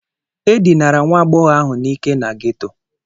E dinara nwa agbọghọ ahụ n'ike na ghetto.